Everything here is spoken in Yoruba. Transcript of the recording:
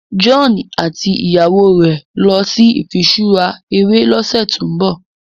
John àti ìyàwó rẹ nlọ sí ifiṣura eré lọsẹ to'n bọ